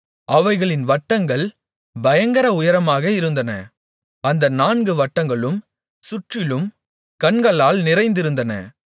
அவைகளின் வட்டங்கள் பயங்கர உயரமாக இருந்தன அந்த நான்கு வட்டங்களும் சுற்றிலும் கண்களால் நிறைந்திருந்தன